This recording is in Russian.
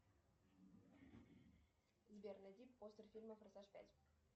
сбер найди постер фильма форсаж пять